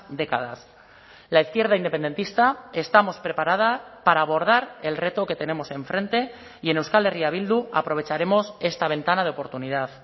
décadas la izquierda independentista estamos preparada para abordar el reto que tenemos enfrente y en euskal herria bildu aprovecharemos esta ventana de oportunidad